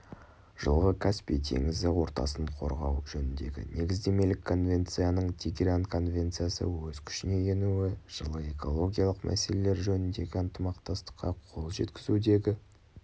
жылғы каспий теңізі ортасын қорғау жөніндегі негіздемелік конвенцияның тегеран конвенциясы өз күшіне енуі жылы экологиялық мәселелер жөніндегі ынтымақтастыққа қол жеткізудегі